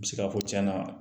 U bɛ se k'a fɔ tiɲɛna